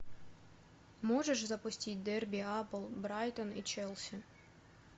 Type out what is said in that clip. можешь запустить дерби апл брайтон и челси